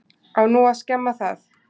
Á nú að skemma það?